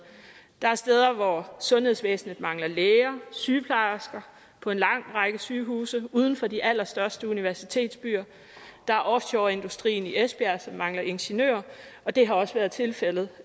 der er steder hvor sundhedsvæsenet mangler læger og sygeplejersker på en lang række sygehuse uden for de allerstørste universitetsbyer der er offshoreindustrien i esbjerg som mangler ingeniører og det har også været tilfældet